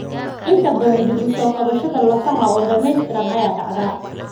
Inta badan, dib u soo kabashada lafaha oo dhamaystiran ayaa dhacda.